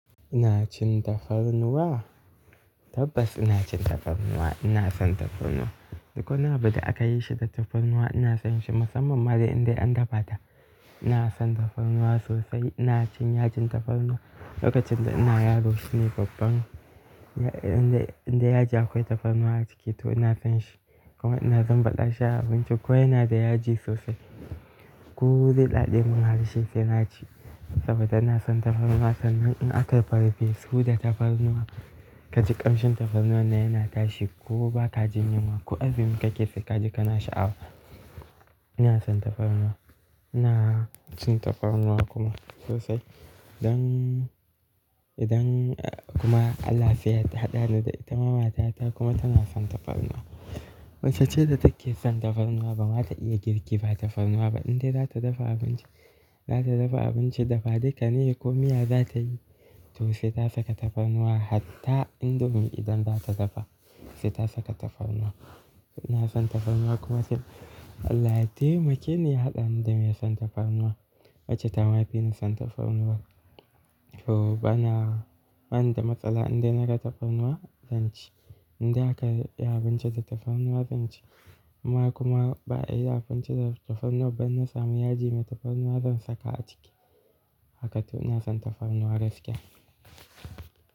Ina cin tafarnuwa? Tabbas ina cin tafarnuwa. Ina son tafarnuwa. Duk wani abu da aka yi shi da tafarnuwa ina son shi, musamman ma idan an dafa ta. Ina son tafarnuwa sosai. Ina cin yajin tafarnuwa lokacin da ina yaro. Shine babban indai yaji akwai tafarnuwa a ciki to ina son shi. Kuma ina zan baɗa shi a abinci. Ko yana da yaji sosai. Ko zai daɗe mun harshe sai na ci saboda ina son tafarnuwa. Sannan in aka pepper soup da tafarnuwa ka ji ƙamshin tafarnuwa na yana tashi ko ba ka jin yunwa ko abin da kake saka ka ji kana sha'awa. Ina son tafarnuwa. Ina cin tafarnuwa kuma sosai. Don Idan kuma Allah sai ya taɗa ni da ita. Mata ta kuma tana son tafarnuwa. Waccan ce da take son tafarnuwa ba ma ta iya girki ba tafarnuwa ba. Inda za ta dafa abinci, za ta dafa abinci dafa duka ne ko miya za ta yi to sai ta saka tafarnuwa. Hatta indomi idan za ta dafa sai ta saka tafarnuwa. Ina son tafarnuwa kuma sai Allah ya taimake ni ya haɗa ni da mai son tafarnuwa. Wacce ta ma fi ni son tafarnuwa to bana, bana da matsala inda na ga tafarnuwa zan ci. Inda aka yi abinci da tafarnuwa zan ci. Kuma kuma ba'a yi abinci da tafarnuwa ba in na samu yaji mai tafarnuwa zan saka a ciki. Haka to ina son tafarnuwa gaskiya.